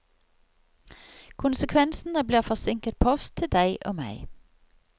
Konsekvensene blir forsinket post til deg og meg.